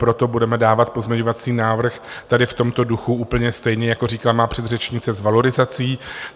Proto budeme dávat pozměňovací návrh tady v tomto duchu úplně stejně, jako říkala má předřečnice, s valorizací.